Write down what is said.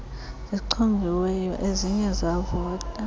zichongiweyo eziye zavota